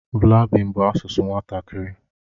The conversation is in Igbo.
Blaabin bụ asụsụ nwatakịrị.